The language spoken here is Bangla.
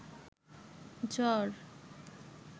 জ্বর